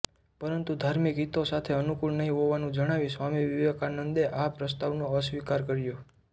પરંતુ ધાર્મિક હિતો સાથે અનુકૂળ નહિ હોવાનું જણાવી સ્વામી વિવેકાનંદે આ પ્રસ્તાવનો અસ્વીકાર્ય કર્યો